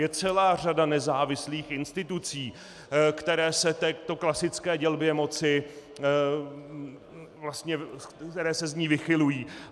Je celá řada nezávislých institucí, které se této klasické dělbě moci... které se z ní vychylují.